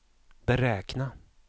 beräkna